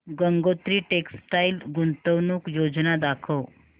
Gangotri textile गुंतवणूक योजना दाखव